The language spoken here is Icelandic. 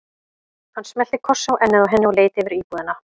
Hann smellti kossi á ennið á henni og leit yfir íbúðina.